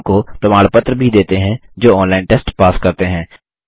उनको प्रमाण पत्र भी देते हैं जो ऑनलाइन टेस्ट पास करते हैं